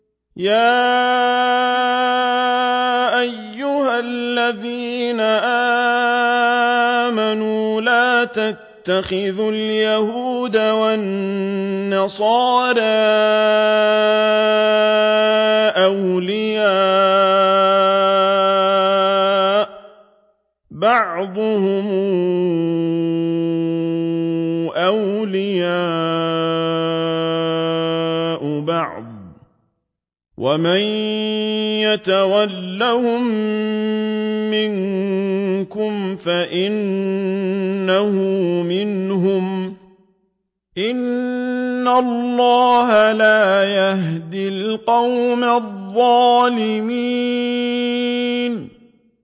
۞ يَا أَيُّهَا الَّذِينَ آمَنُوا لَا تَتَّخِذُوا الْيَهُودَ وَالنَّصَارَىٰ أَوْلِيَاءَ ۘ بَعْضُهُمْ أَوْلِيَاءُ بَعْضٍ ۚ وَمَن يَتَوَلَّهُم مِّنكُمْ فَإِنَّهُ مِنْهُمْ ۗ إِنَّ اللَّهَ لَا يَهْدِي الْقَوْمَ الظَّالِمِينَ